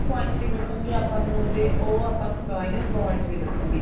point ਵੀ ਦੱਸਣਗੇ ਆਪਾਂ ਨੂੰ ਉਹਦੇ ਉਹ ਆਪਾਂ ਨੂੰ minus point ਵੀ ਦੱਸਣਗੇ